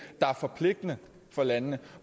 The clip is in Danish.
der er forpligtende for landene